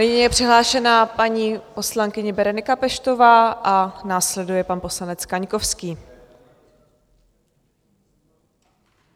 Nyní je přihlášena paní poslankyně Berenika Peštová a následuje pan poslanec Kaňkovský.